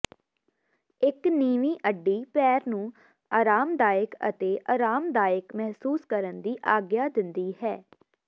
ਇੱਕ ਨੀਵੀਂ ਅੱਡੀ ਪੈਰ ਨੂੰ ਆਰਾਮਦਾਇਕ ਅਤੇ ਅਰਾਮਦਾਇਕ ਮਹਿਸੂਸ ਕਰਨ ਦੀ ਆਗਿਆ ਦਿੰਦੀ ਹੈ